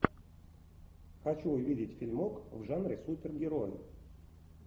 хочу увидеть фильмок в жанре супергероев